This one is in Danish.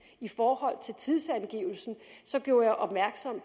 i forhold til tidsangivelsen så gjorde jeg opmærksom